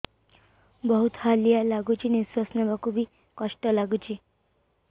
ବହୁତ୍ ହାଲିଆ ଲାଗୁଚି ନିଃଶ୍ବାସ ନେବାକୁ ଵି କଷ୍ଟ ଲାଗୁଚି